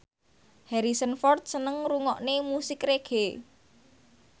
Harrison Ford seneng ngrungokne musik reggae